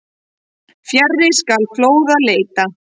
Fjarri skal fljóða leita.